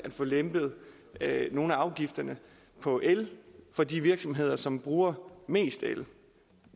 få lempet nogle af afgifterne på el for de virksomheder som bruger mest el